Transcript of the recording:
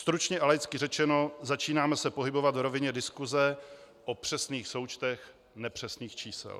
Stručně a laicky řečeno, začínáme se pohybovat v rovině diskuse o přesných součtech nepřesných čísel.